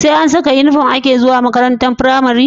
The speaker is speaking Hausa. SE an Saka inufom ake zuwa makarantar pramari